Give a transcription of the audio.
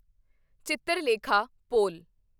Chitralekha Paul